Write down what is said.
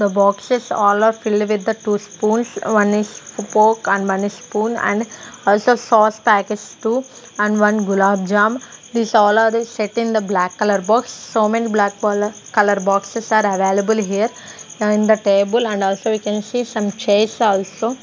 the boxes all are filled with the two spoons one is fork and one is spoon and also sause packets two and one gulab jam these all are the set in the black colour box so many black bolour colour boxes are available here in the table and also we can see some chairs also.